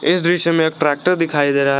इस दृश्य में ट्रैक्टर दिखाई दे रहा--